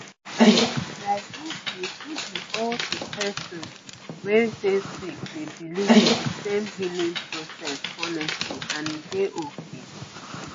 like no be no be all the person wey dey sick dey believe in de same healing process honestly and e dey okay